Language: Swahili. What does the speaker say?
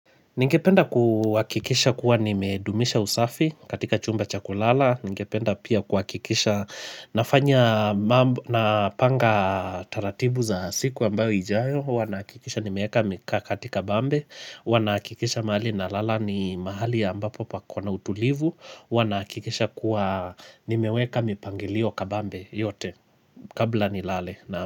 Ningependa kuakikisha kuwa nimedumisha usafi katika chumba cha kulala. Ningependa pia kuhakikisha nafanya na panga taratibu za siku ambayo ijayo. Huwa nahakikisha nimeeeka mika katika bambe. Huwa nahakikisha mahali na lala ni mahali ambapo pako na utulivu. Huwa nahakikisha kuwa nimeweka mipangilio kabambe yote kabla nilale.